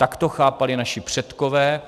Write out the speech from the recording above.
Tak to chápali naši předkové.